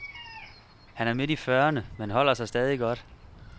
Han er midt i fyrrerne, men holder sig stadig godt.